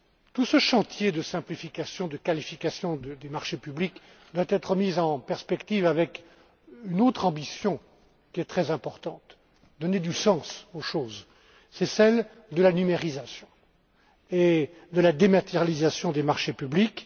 Tout ce chantier de simplification, de qualification des marchés publics doit être mis en perspective avec une autre ambition qui est très importante pour donner du sens aux choses, c'est celle de la numérisation et de la dématérialisation des marchés publics.